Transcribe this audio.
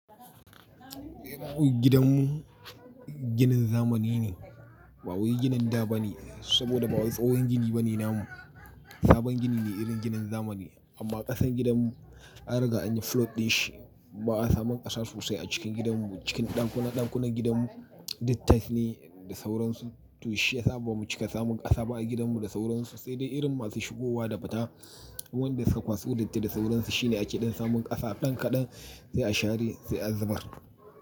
Gidanmu ginin zamani ne, ba wai ginin da ba ne, saboda ba wani tsohon gini ba ne namu. Sabon gini ne irin ginin zamani amma ƙasan gidanmu an riga an yi flood din shi. Ba a samu ƙasa sosai a cikin gidanmu, cikin ɗakuna-ɗakunan gidanmu tiles ne da sauransu. To shi ya sa ba mu cika samun ƙasa ba a gidanmu da sauransu. Sai dai irin masu shigowa da fita, wanda suka kwaso datti da sauransu shine a keɗan samun ƙasa. Ɗan kaɗan sai a share sai a zubar.